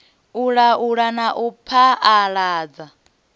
u laula na u phaaladza